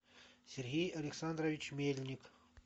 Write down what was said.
сергей александрович мельник